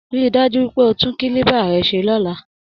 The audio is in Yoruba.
Rí i dájú pé o tún kílíbà rẹ ṣe lọ́la!